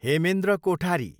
Hemendra Kothari